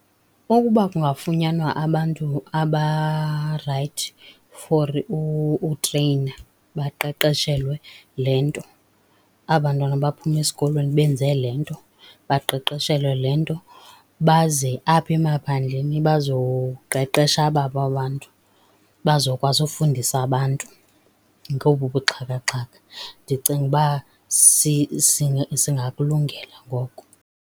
Ukuba kungafunyanwa abantu abarayithi for utreyina baqeqeshelwe le nto, aba bantwana baphuma esikolweni benze le nto, baqeqeshelwe le nto. Baze apha emaphandleni bazoqeqesha ababo abantu, bazokwazi ufundisa abantu ngobu buxhakaxhaka, ndicinga uba singakulungela ngoko.